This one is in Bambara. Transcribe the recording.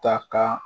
Ta ka